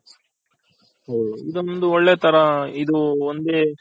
ಇದೊಂದು ಒಳ್ಳೆ ತರ ಇದು ಒಂದೇ